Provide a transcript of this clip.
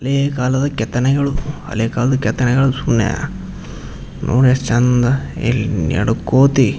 ಹಳೆ ಕಾಲದ ಕೆತ್ತನೆಗಳು ಹಳೆ ಕಾಲದ್ ಕೆತ್ತನೆಗಳು ಸುಮ್ನೆ ನೋಡ್ ಎಷ್ಟ್ ಚಂದ್ ಇಲ್ ನೆಡಕೊತಿ .